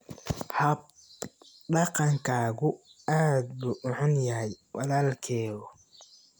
Hab dhaqankaagu aad buu u xun yahay walaalkeyow.